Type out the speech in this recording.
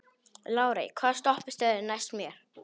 Lárey, hvaða stoppistöð er næst mér?